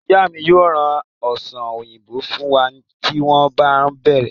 Ìyá mi yóò ra ọsàn òyìnbó fún wa tí wọ́n bá ń bere